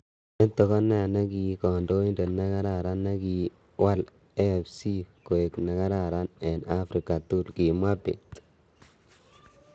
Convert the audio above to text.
"Meto ko ne ki kandoindet ne kararan ne ki walAFC koek ne kararan ing Africa tukul." Kimwaa Bett.